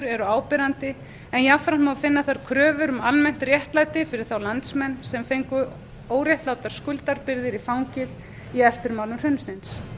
eru áberandi en jafnframt má finna þar kröfur um almennt réttlæti fyrir þá landsmenn sem fengu óréttlátar skuldabyrðar í fangið í eftirmálum hrunsins